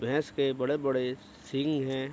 भैंस के बड़े-बड़े सिंग हैं।